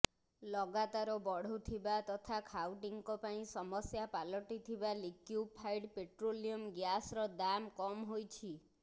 ଲଗାତାର ବଢୁଥିବା ତଥା ଖାଉଟିଙ୍କ ପାଇଁ ସମସ୍ୟା ପାଲଟିଥିବା ଲିକ୍ୟୁଫାଇଡ୍ ପେଟ୍ରୋଲିୟମ୍ ଗ୍ୟାସ୍ର ଦାମ୍ କମ୍ ହୋଇଛି